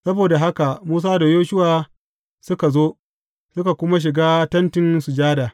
Saboda haka Musa da Yoshuwa suka zo, suka kuma shiga Tentin Sujada.